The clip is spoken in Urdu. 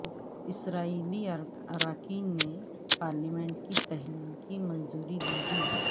اسرائیلی اراکین نے پارلیمنٹ کے تحلیل کی منظوری دے دی